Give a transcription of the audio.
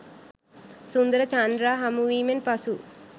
සුන්දර චන්දා හමුවීමෙන් පසු